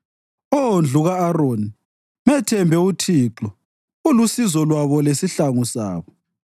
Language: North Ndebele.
Oh, ndlu ka-Aroni, methembe uThixo ulusizo lwabo lesihlangu sabo.